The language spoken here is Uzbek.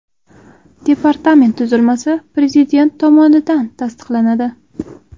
Departament tuzilmasi Prezident tomonidan tasdiqlanadi.